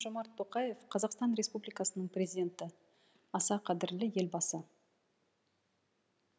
қасым жомарт тоқаев қазақстан республикасының президенті аса қадірлі елбасы